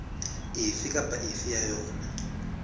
efe kapa efe ya yona